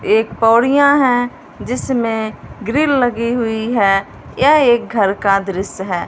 एक पौड़ियां है जिसमें ग्रिल लगी हुई है यह एक घर का दृश्य है।